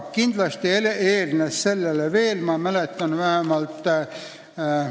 Kindlasti eelnes sellele veel variante.